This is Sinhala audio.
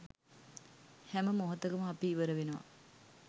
හැම මොහොතකම අපි ඉවර වෙනවා